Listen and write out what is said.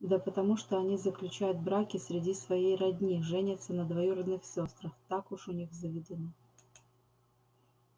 да потому что они заключают браки среди своей родни женятся на двоюродных сёстрах так уж у них заведено